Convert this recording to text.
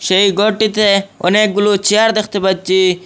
সেই গরটিতে অনেকগুলো চেয়ার দ্যাখতে পাচ্চি।